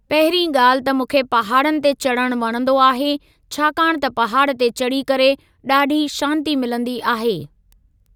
पहिरीं ॻाल्हि त मूंखे पहाड़नि ते चढ़णु वणंदो आहे छाकाणि त पहाड़ ते चढ़ी करे ॾाढी शांती मिलंदी आहे।